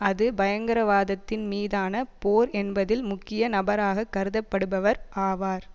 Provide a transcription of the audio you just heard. அது பயங்கரவாதத்தின் மீதான போர் என்பதில் முக்கிய நபராகக் கருதப்படுபவர் ஆவார்